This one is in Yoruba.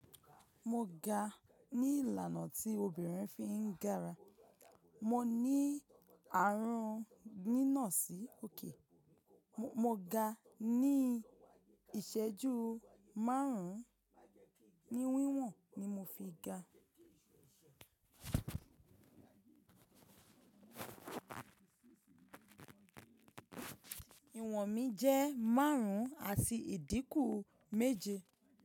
Mo ga ní ìlànà tí obìnrin fi ń gara. Mo ní ààrùn nínà sí òkè. Mo ga ní ìṣẹ́jú márùn-ún. Ni wíwọ̀n ni mo fi ga. Ìwọ̀n mi jẹ́ márùn-ún àti ìdínkù méje.